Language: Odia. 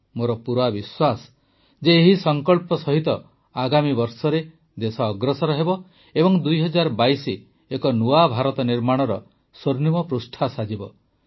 ମୋର ପୂରା ବିଶ୍ୱାସ ଯେ ଏହି ସଙ୍କଳ୍ପ ସହିତ ଆଗାମୀ ବର୍ଷରେ ଦେଶ ଅଗ୍ରସର ହେବ ଏବଂ ୨୦୨୨ ଏକ ନୂଆ ଭାରତ ନିର୍ମାଣର ସ୍ୱର୍ଣ୍ଣିମ ପୃଷ୍ଠା ସାଜିବ